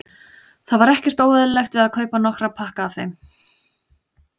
Það var ekkert óeðlilegt við að kaupa nokkra pakka af þeim.